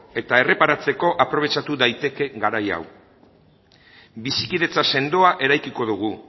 eta erreparatzeko aprobetxatu daiteke garai hau bizikidetza sendoa eraikiko dugu